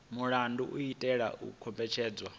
mulandu u itela u kombetshedza